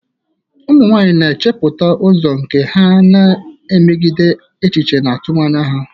Ụmụ nwanyị na-echepụta ụzọ nke ha, na-emegide echiche efu na atụmanya ha.